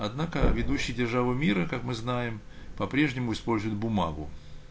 однако ведущие державы мира как мы знаем по-прежнему использует бумагу